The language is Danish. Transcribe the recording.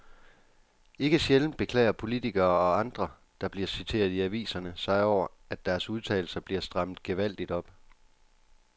Ikke sjældent beklager politikere og andre, der bliver citeret i aviserne sig over, at deres udtalelser bliver strammet gevaldigt op.